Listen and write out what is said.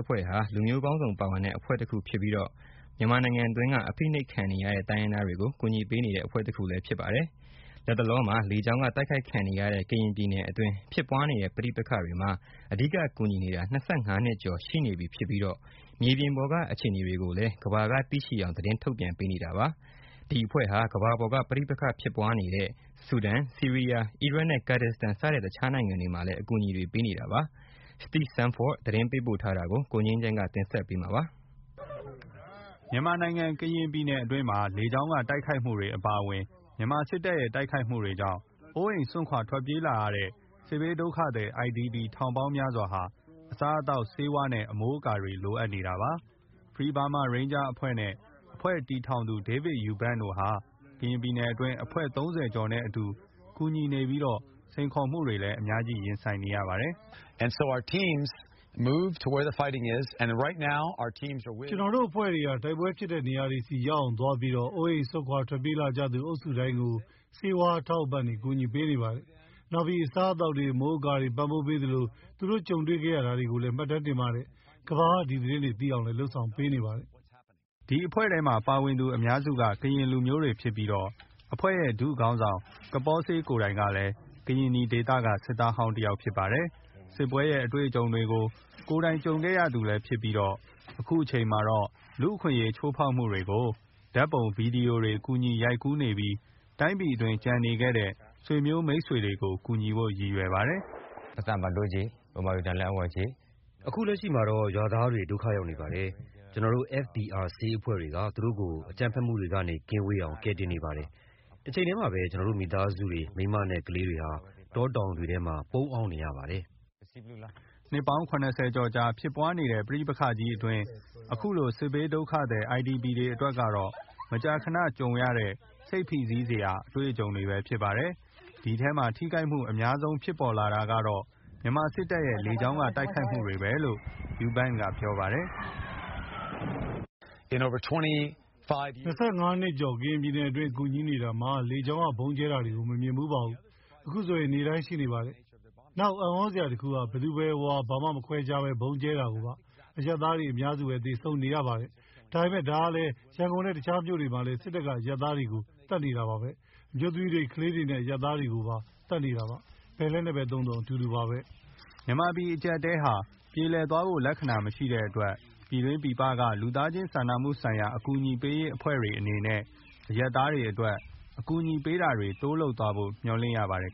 အဖွဲ့ဟာ လူမျိုးပေါင်းစုံ ပါဝင်တဲ့ အဖွဲ့တခုဖြစ်ပြီး မြန်မာနိုင်ငံတွင်းက အဖိနှိပ်ခံနေရတဲ့ တိုင်းရင်းသားတွေကို ကူညီနေတဲ့ အဖွဲ့တခုဖြစ်ပါတယ်။ လတ်လလော လေကြောင်းက တိုက်ခိုက်ခံနေရတဲ့ ကရင်ပြည်နယ်အတွင်း ဖြစ်ပွားနေတဲ့ ပဋိပက္ခတွေ မှာအဓိက ကူညီနေတာ၂၅နှစ်ကျော် ရှိနေပြီ ဖြစ်ပြီး မြေပြင်ပေါ်က အခြေအနေတွေကိုလည်း ကမ္ဘာက သိရှိအောင်သတင်းထုတ်ပြန်ပေးနေတာပါ။ ဒီအဖွဲ့ဟာ ကမ္ဘာပေါ်က ပဋိပက္ခဖြစ်ပွားနေတဲ့ ဆူဒန်၊ ဆီးရီးယား၊ အီရတ် နဲ့ ကဒ်ဒစ်စတန် စတဲ့ တခြားနိုင်ငံတွေ မှာလည်း ကူညီပေးခဲ့တာပါ။ Steve Sandford သတင်းပေးပို့ထားပါတယ်။ ကိုငြိမ်းချမ်းကတင်ပြမှာပါတယ်။ မြန်မာနိုင်ငံ ကရင်ပြည်နယ်အတွင်းမှာ လေကြောင်းက တိုက်ခိုက်မှုတွေ အပါအဝင် မြန်မာ စစ်တပ်ရဲ့ တိုက်ခိုက်မှုတွေကြောင့် အိုးအိမ်စွန့်ခွာထွက်ပြေးလာရတဲ့ စစ်ဘေးဒုက္ခသည် IDP ထောင်ပေါင်းများစွာ ဟာ အစားအသောက်၊ ဆေးဝါး နဲ့ အမိုးအကာတွေ လိုအပ်နေတာပါ။ Free Burma Rangers အဖွဲ့ နဲ့ အဖွဲ့တည်ထောင်သူ David Eubank တို့ဟာ ကရင်ပြည်နယ်အတွင်း အဖွဲ့ ၃၀ ကျော် နဲ့ အတူ ကူညီနေပြီးတော့ စိန်ခေါ်မှုတွေလည်း အများကြီးရှိပါတယ်။ “ကျနော်တို့ အဖွဲ့ တွေဟာ တိုက်ပွဲဖြစ်တဲ့ နေရာတွေဆီကိုရောက်အောင် သွားပြီးတော့ အိုးအိမ် စွန့်ခွာပြေးလာကြသူအုပ်စုတိုင်းကို ဆေးဝါးအထောက်အပံ့တွေ ကူညီပေးနေပါတယ်။ နောက်ပြီး အစားအသောက်တွေ၊ အမိုးအကာတွေ ပံ့ပိုးပေးသလို သူတို့ ကြုံတွေ့ ခဲ့ရတာတွေကိုလည်း မှတ်တမ်းတင်ပါတယ်။ ကမ္ဘာက ဒီသတင်းတွေ သိအောင်လည်း လုပ်ဆောင်နေပါတယ်။” FBR အဖွဲ့ထဲမှာ ပါဝင်သူအများစု ကရင်လူမျိုးတွေ ဖြစ်ပြီတော့ အဖွဲ့ရဲ့ ဒုခေါင်းဆောင် ကပေါဆေး ကိုယ်တိုင်လည်း ကရင်နီဒေသက စစ်သားဟောင်းတယောက်ဖြစ်ပါတယ်။ စစ်ပွဲရဲ့ အတွေ့အကြုံတွေကို သူကိုယ်တိုင် ကြုံခဲ့ရသူလည်း ဖြစ်ပြီး အခုအချိန်မှာတော့ လူ့အခွင့်အရေး ချိုးဖောက်မှုတွေကို ဓာတ်ပုံ၊ ဗွီဒီယို တွေ ကူညီ ရိုက်ကူးနေပြီး တိုင်းပြည်အတွင်းကျန်နေခဲ့တဲ့ ဆွေမျိုး မိတ်ဆွေကို ကူညီဖို့ ရည်ရွယ်ပါတယ်။ “အခုလက်ရှိမှာတော့ ရွာသားတွေ ဒုက္ခရောက်နေပါတယ်။ ကျနော်တို့ FBR ဆေးအဖွဲ့တွေက သူတို့ကို အကြမ်းဖက်မှုတွေက ကင်းဝေးအောင် ကယ်တင်နေပါတယ်။ တချိန်တည်းမှာပဲ ကျနော်တို့ရဲ့ မိသားစုတွေ၊ မိန်းမ နဲ့ ကလေးတွေဟာ တောတောင်ထဲတွေမှာ ပုန်းအောင်းနေရပါတယ်။” နှစ်ပေါင်း ၇၀ ကျော် ကြာဖြစ်ပွားနေတဲ့ ပဋိပက္ခကြီးအတွင်း အခုလို စစ်ဘေးဒုက္ခသည် IDP တွေ အတွက်ကတော့ မကြာခဏကြုံရတဲ့ စိတ်ဖိစီးစရာ အတွေ့အကြုံတွေပဲဖြစ်ပါတယ်။ ဒီအထဲမှာ ထိခိုက်မှု အများဆုံး ဖြစ်ပေါ်လာတာကတော့ မြန်မာစစ်တပ်ရဲ့ လေကြောင်း က တိုက်ခိုက်မှုပဲ လို့ Eubank က ပြောပါတယ်။ “၂၅နှစ်ကျော် ကရင်ပြည်နယ်အတွင်း ကူညီနေတာမှာ လေကြောင်းက ဗုံးကြဲတာကို မမြင်ဖူးပါဘူး။ အခုဆို နေ့တိုင်း ရှိနေပါတယ်။ နောက်အံ့သြစရာတခုက ဘာမှမခွဲခြားပဲ ဗုံးကြဲတာကိုပါ။ အရပ်သားတွေ အများစုပဲ သေဆုံးနေရတာပါ။ ဒါပေမဲ့ ဒါဟာလည်း ရန်ကုန် နဲ့ တခြားမြို့တွေမှာလည်း စစ်တပ်က အရပ်သားတွေကို သတ်နေတာပါပဲ။ အမျိုးသမီးတွေ၊ ကလေးတွေ နဲ့ အရပ်သားတွေကို သတ်နေတာပါ။ ဘယ်လက်နက်ပဲသုံးသုံး တူတူပါပဲ။” မြန်မာပြည်အကြပ်အတည်းဟာ ပြေလည်သွားဖို့ လက္ခဏာမရှိတဲ့အတွက် ပြည်တွင်းပြည်ပ က လူသားချင်းစာနာမှုဆိုင်ရာ အကူအညီပေးရေးအဖွဲ့တွေ အနေနဲ့အရပ်သားတွေအတွက် အကူအညီပေးတာတွေ တိုးလုပ်သွားဖို့ မျှော်လင့်ရပါတယ်